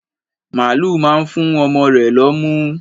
Màlúù máa ń fú ọmọ rẹ̀ lọ́mú.